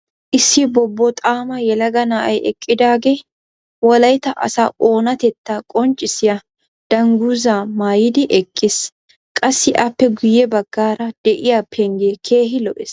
issi bobboxaama yelaga na'ay eqqidaagee wolaytta asaa oonatettaa qonccissiya danguzzaa maayidi eqqiis. qassi appe guye bagaara diya pengee keehi lo'ees.